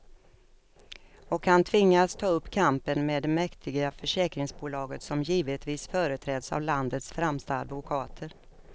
Och han tvingas ta upp kampen med det mäktiga försäkringsbolaget, som givetvis företräds av landets främsta advokater.